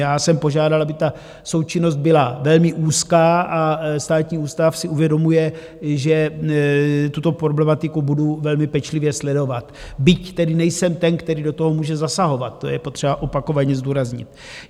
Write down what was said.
Já jsem požádal, aby ta součinnost byla velmi úzká, a Státní ústav si uvědomuje, že tuto problematiku budu velmi pečlivě sledovat, byť tedy nejsem ten, který do toho může zasahovat, to je potřeba opakovaně zdůraznit.